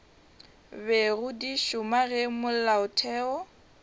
bego di šoma ge molaotheo